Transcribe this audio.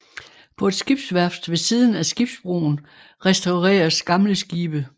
På et skibsværft ved siden af skibsbroen restaureres gamle skibe